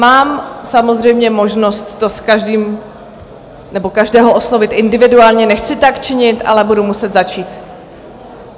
Mám samozřejmě možnost to s každým - nebo každého - oslovit individuálně, nechci tak činit, ale budu muset začít.